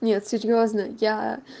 нет серьёзно я